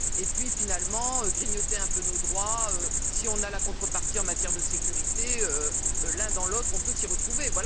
Et puis finalement, grignoter un peu nos droits, si on a la contrepartie en matière de sécurité, l'un dans l'autre on peut s'y retrouver.